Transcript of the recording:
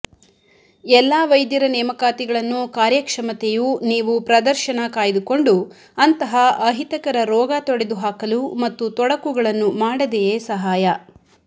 ಎಲ್ಲಾ ವೈದ್ಯರ ನೇಮಕಾತಿಗಳನ್ನು ಕಾರ್ಯಕ್ಷಮತೆಯು ನೀವು ಪ್ರದರ್ಶನ ಕಾಯ್ದುಕೊಂಡು ಅಂತಹ ಅಹಿತಕರ ರೋಗ ತೊಡೆದುಹಾಕಲು ಮತ್ತು ತೊಡಕುಗಳನ್ನು ಮಾಡದೆಯೇ ಸಹಾಯ